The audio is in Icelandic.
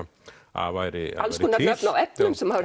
að væri alls konar nöfn á efnum sem maður